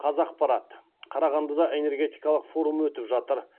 қазақпарат қарағандыда энергетикалық форум өтіп жатыр